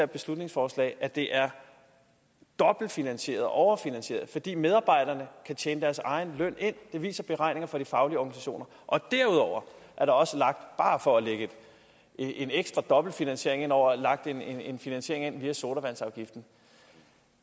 beslutningsforslag at det er dobbeltfinansieret overfinansieret fordi medarbejderne kan tjene deres egen løn det viser beregninger fra de faglige organisationer og derudover er der også bare for at lægge en ekstra dobbelt finansiering over lagt en en finansiering ind via sodavandsafgiften